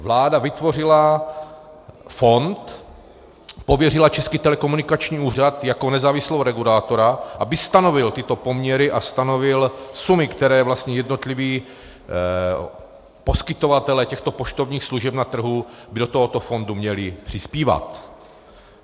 Vláda vytvořila fond, pověřila Český telekomunikační úřad jako nezávislého regulátora, aby stanovil tyto poměry a stanovil sumy, které vlastně jednotliví poskytovatelé těchto poštovních služeb na trhu by do tohoto fondu měli přispívat.